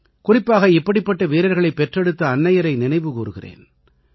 குறிப்பாக இப்படிப்பட்ட வீரர்களைப் பெற்றெடுத்த அன்னையரை நினைவுகூருகிறேன்